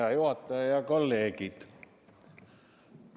Hea juhataja ja kolleegid!